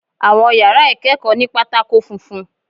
Àwọn yàrá ìkẹ́kọ̀ọ́ ní pátákó funfun.